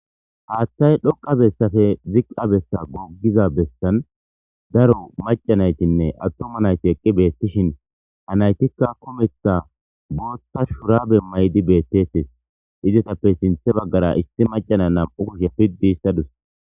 Haaththay dhoqqa bessape ziqqa besa goggida bessan daro macca na7ithinne aththuma na7ithi eqqi beeththishin ha na7ithikka kumeththa booththa shuraabe mayidi beeththees; izathappe sinththa baggara issi macca na7u kushe piddiissa dawus.